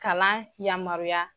Kalan yamaruya.